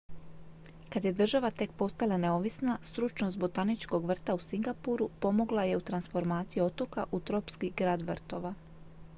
kad je država tek postala neovisna stručnost botaničkog vrta u singapuru pomogla je u transformaciji otoka u tropski grad vrtova